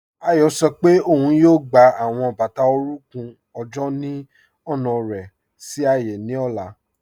Ayo sọ pe ọun yóò gbà awọn bátà orùnkùn ọjọ́ ni ọna rẹ sí ààyé ni ọla.